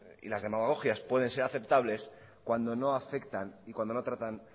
y las demagogias pueden ser aceptables cuando no afectan y cuando no tratan